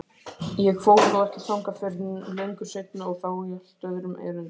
Ég fór þó ekki þangað fyrr en löngu seinna og þá í allt öðrum erindum.